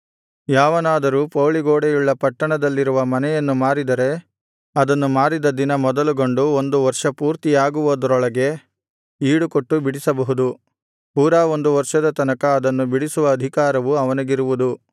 ಯಾವನಾದರೂ ಪೌಳಿ ಗೋಡೆಯುಳ್ಳ ಪಟ್ಟಣದಲ್ಲಿರುವ ಮನೆಯನ್ನು ಮಾರಿದರೆ ಅದನ್ನು ಮಾರಿದ ದಿನ ಮೊದಲುಗೊಂಡು ಒಂದು ವರ್ಷ ಪೂರ್ತಿಯಾಗುವುದರೊಳಗೆ ಈಡುಕೊಟ್ಟು ಬಿಡಿಸಬಹುದು ಪೂರಾ ಒಂದು ವರ್ಷದ ತನಕ ಅದನ್ನು ಬಿಡಿಸುವ ಅಧಿಕಾರವು ಅವನಿಗಿರುವುದು